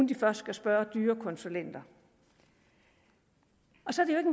de først skal spørge dyre konsulenter så